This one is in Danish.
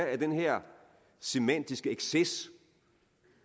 at den her semantiske exces